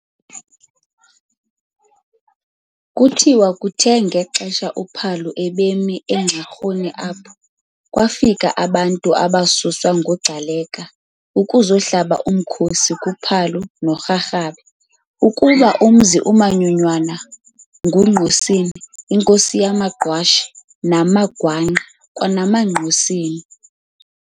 Kuthiwa kuthe ngexesha uPhalo ebemi eNxarhuni apha, kwafika abantu abasuswa nguGcaleka ukuzakuhlaba umkhosi kuPhalo noRharhabe ukuba umzi umanyonywana nguNgqosini, inkosi yamaGqwashe, namagwangqa, kwanamaNgqosini.